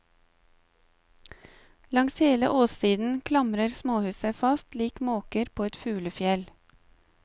Langs hele åssiden klamrer småhus seg fast lik måker på et fuglefjell.